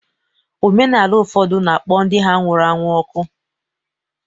Omenala ụfọdụ na-akpọ ndị ha nwụrụ anwụ ọkụ